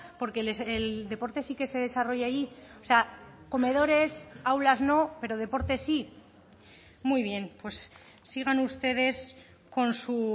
porque el deporte sí que se desarrolla allí o sea comedores aulas no pero deporte sí muy bien pues sigan ustedes con su